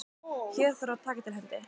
Hér þarf að taka til hendi.